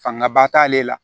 Fanga ba t'ale la